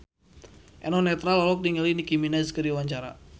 Eno Netral olohok ningali Nicky Minaj keur diwawancara